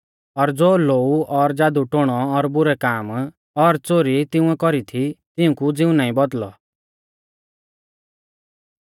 और ज़ो लोऊ और ज़ादुटोणो और बुरै काम और च़ोरी तिंउऐ कौरी थी तिऊंकु ज़िऊ नाईं बौदल़ौ